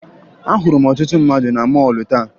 Ahụrụ m ọtụtụ mmadụ na mọọlụ taa